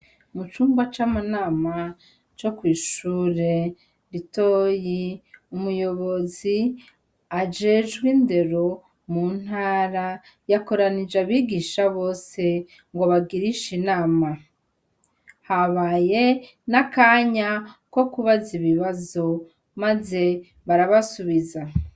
Mucumba c' amanama co kwishure ritoyi umuyobozi ajejwe indero mu ntara yakoranije abigisha bose ngo abagirishe inama habaye n' akanya ko kubaza ibibazo maze barabasubiza.